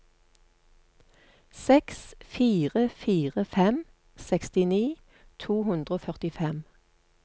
seks fire fire fem sekstini to hundre og førtifem